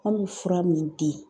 An be fura min di